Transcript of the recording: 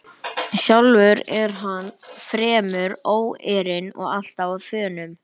Sjálfur er hann fremur óeirinn og alltaf á þönum.